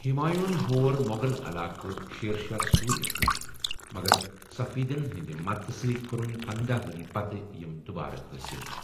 ہمایوٗں ہن ہور مو٘غل علاقہٕ شیر شاہ سوری یس نِش، مگر صفویدَن ہٕنٛدِ مددتہٕ سۭتہِ کٔرِن پنداہَ ؤرۍ پتہٕ یِم دُوبارٕ حٲصِل۔